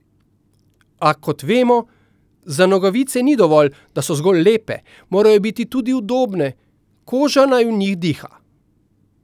A, kot vemo, za nogavice ni dovolj, da so zgolj lepe, morajo biti tudi udobne, koža naj v njih diha.